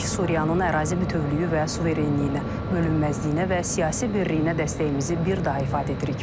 Suriyanın ərazi bütövlüyü və suverenliyinə, bölünməzliyinə və siyasi birliyinə dəstəyimizi bir daha ifadə edirik.